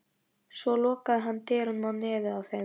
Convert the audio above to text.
Svo lokaði hann dyrunum á nefið á þeim.